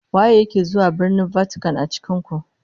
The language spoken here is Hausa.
Waye yake zuwa Birnin Vatican a cikin ku?